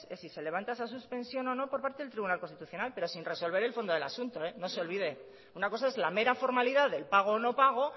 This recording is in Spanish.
es si se levanta esa suspensión o no por el tribunal constitucional pero sin resolver el fondo del asunto no se olvide una cosa es la mera formalidad del pago o no pago